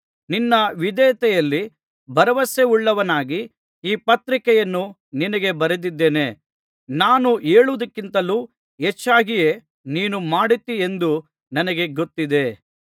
ನಿನ್ನ ವಿಧೇಯತೆಯಲ್ಲಿ ಭರವಸೆವುಳ್ಳವನಾಗಿ ಈ ಪತ್ರಿಕೆಯನ್ನು ನಿನಗೆ ಬರೆದಿದ್ದೇನೆ ನಾನು ಹೇಳುವುದಕ್ಕಿಂತಲೂ ಹೆಚ್ಚಾಗಿಯೇ ನೀನು ಮಾಡುತ್ತಿ ಎಂದು ನನಗೆ ಗೊತ್ತಿದೆ